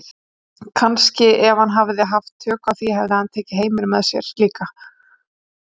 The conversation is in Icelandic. Kannski ef hann hefði haft tök á því hefði hann tekið heiminn með sér líka.